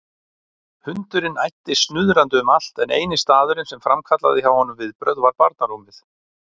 Hundurinn æddi snuðrandi um allt en eini staðurinn sem framkallaði hjá honum viðbrögð var barnarúmið.